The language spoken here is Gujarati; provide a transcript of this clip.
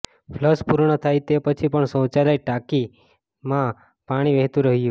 ફ્લશ પૂર્ણ થાય તે પછી પણ શૌચાલય ટાંકીમાં પાણી વહેતું રહ્યું